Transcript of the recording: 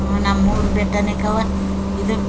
ಹ್ಮ್ ನಮ್ಮೂರು ಬೆಟ್ಟನೆ ಕವ್ವ ಇದು.